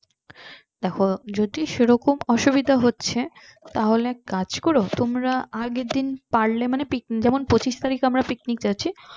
দেখো যদি সেরকম অসুবিধা হচ্ছে তাহলে এক কাজ করো তোমরা আগের দিন পারলে যেমন পঁচিশ তারিক আমরা picnic যাচ্ছি